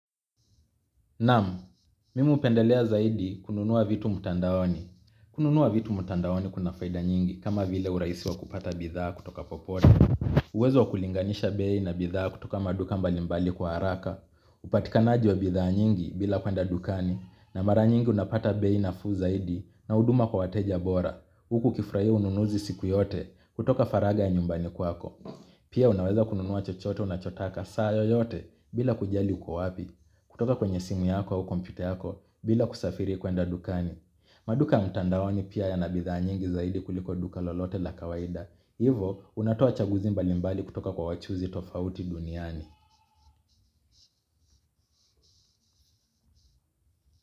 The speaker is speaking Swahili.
Naam, mimi hupendelea zaidi kununua vitu mtandaoni. Kununua vitu mtandaoni kuna faida nyingi kama vile urahisi wa kupata bidhaa kutoka popote. Uwezo wa kulinganisha bei na bidhaa kutoka maduka mbali mbali kwa haraka. Upatikanaji wa bidhaa nyingi bila kwenda dukani, na mara nyingi unapata bei nafuu zaidi na huduma kwa wateja bora. Huku ukifurahia ununuzi siku yote kutoka faragha ya nyumbani kwako. Pia unaweza kununua chochote unachotaka saa yoyote bila kujali uko wapi. Kutoka kwenye simu yako au kompyta yako bila kusafiri kwenda dukani. Maduka mtandaoni pia yana bidhaa nyingi zaidi kuliko duka lolote la kawaida. Hivo unatoa chaguzi mbalimbali kutoka kwa wachuuzi tofauti duniani.